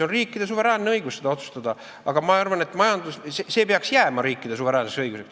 Riikidel on suveräänne õigus nii otsustada ja ma arvan, et see peaks jääma riikide suveräänseks õiguseks.